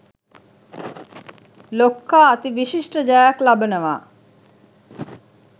ලොක්කා අති විශිෂ්ඨ ජයක් ලබනවා.